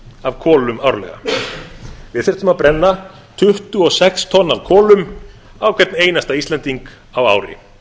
af kolum árlega við þyrftum að brenna tuttugu og sex tonn af kolum á hvern einasta íslending á ári